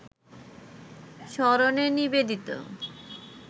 স্মরণে নিবেদিত